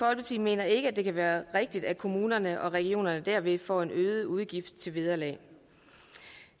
mener ikke det kan være rigtigt at kommunerne og regionerne derved får en øget udgift til vederlag